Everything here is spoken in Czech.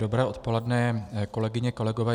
Dobré odpoledne, kolegyně, kolegové.